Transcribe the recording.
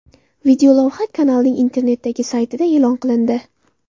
Videolavha kanalning internetdagi saytida e’lon qilindi .